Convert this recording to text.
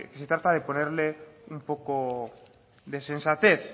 se trata de ponerle un poco de sensatez